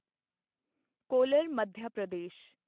collar Madhya Pradesh